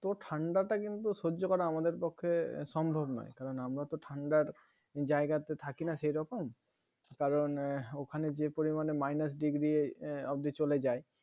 তো ঠান্ডা টা কিন্তু সহ্য করা আমাদের পক্ষে সম্ভব নয় কারণ আমরা তো ঠান্ডার জায়গাতে থাকিনা সেইরকম কারণ এর ওখানে যে পরিমানে মাইনাস ডিগ্রী অব্ধি চলে যায়